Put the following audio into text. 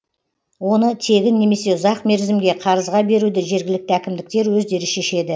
оны тегін немесе ұзақ мерзімге қарызға беруді жергілікті әкімдіктер өздері шешеді